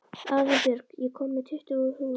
Arinbjörg, ég kom með tuttugu húfur!